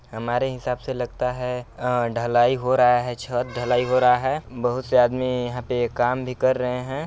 हमारे हिसाब से लगता है अ ढलाई हो रहा है छत ढलाई हो रहा है बहुत से आदमी यहाँ पे काम भी कर रहे हैं।